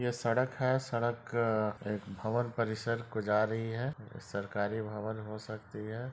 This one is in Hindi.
यह सड़क है सड़क अ एक भवर परिसर को जा रही है है सरकरी भवर हो सकती है।